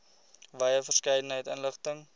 wye verskeidenheid inligting